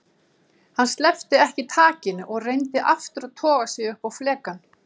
Hann sleppti ekki takinu og reyndi aftur að toga sig upp á flekann.